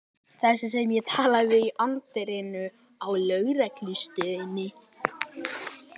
Þessi sem ég talaði við í anddyrinu á lögreglustöðinni.